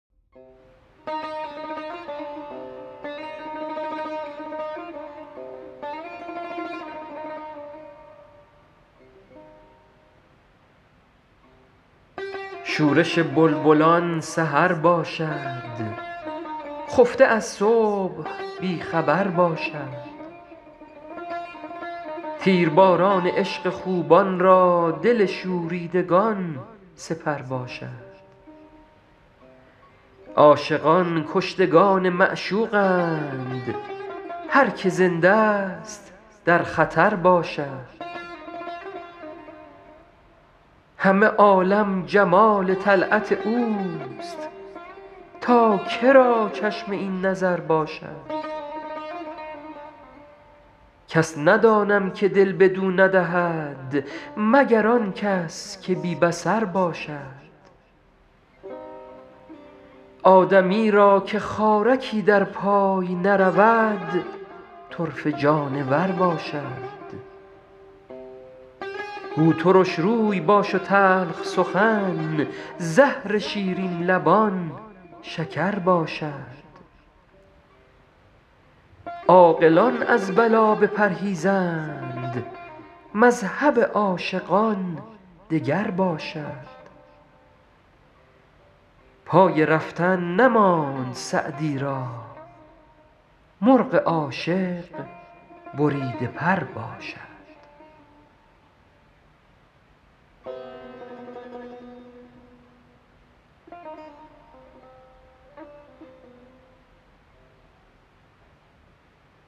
شورش بلبلان سحر باشد خفته از صبح بی خبر باشد تیرباران عشق خوبان را دل شوریدگان سپر باشد عاشقان کشتگان معشوقند هر که زنده ست در خطر باشد همه عالم جمال طلعت اوست تا که را چشم این نظر باشد کس ندانم که دل بدو ندهد مگر آن کس که بی بصر باشد آدمی را که خارکی در پای نرود طرفه جانور باشد گو ترش روی باش و تلخ سخن زهر شیرین لبان شکر باشد عاقلان از بلا بپرهیزند مذهب عاشقان دگر باشد پای رفتن نماند سعدی را مرغ عاشق بریده پر باشد